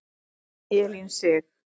Elín Sig.